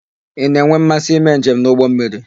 Ị na-enwe mmasị ime njem n'ụgbọmmiri?